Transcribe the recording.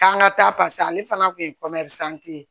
K'an ka taa paseke ale fana kun ye ye